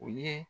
O ye